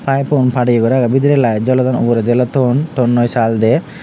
pipepun padiye guri agey bidirey light jolodon uguredi oley ton tonnoi sal dey.